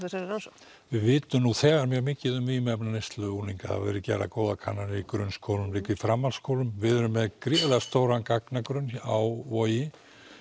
þessari rannsókn við vitum nú þegar mjög mikið um vímuefnaneyslu unglinga það hafa verið gerðar góðar kannanir í grunnskólum líka í framhaldsskólum við erum með gríðarlega stóran gagnagrunn hér á Vogi